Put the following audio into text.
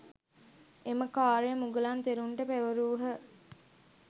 එම කාර්යය මුගලන් තෙරුන්ට පැවරූහ.